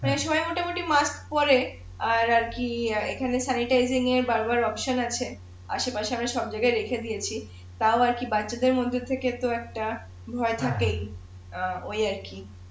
এসময় মোটামুটি মাক্স পরে আর কি এখানে আছে আছে পাশে আমি সব জাগায় লিখে দিয়েছি তাও আরকি বাচ্চা দের মধ্য থেকে তো একটা ভয় থাকেই অ্যাঁ ঐ আর কি